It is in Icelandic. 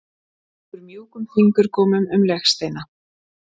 Strýkur mjúkum fingurgómum um legsteina